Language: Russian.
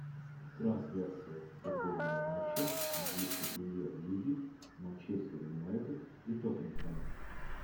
трансляция футбольного матча английской премьер лиги манчестер юнайтед и тоттенхэм